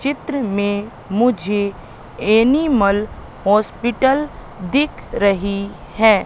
चित्र में मुझे एनिमल हॉस्पिटल दिख रही है।